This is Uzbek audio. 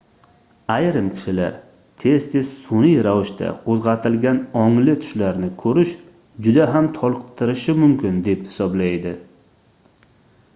ayrim kishilar tez-tez sunʼiy ravishda qoʻzgʻatilgan ongli tushlarni koʻrish juda ham toliqtirishi mumkin deb hisoblaydi